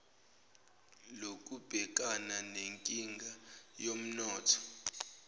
lokubhekana nenkinga yomnotho